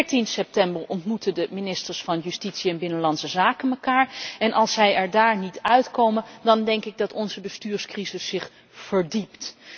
14 september ontmoeten de ministers van Justitie en Binnenlandse Zaken elkaar en als zij er dan niet uitkomen, denk ik dat onze bestuurscrisis zich verdiept.